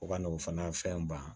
O ka n'o fana fɛn ban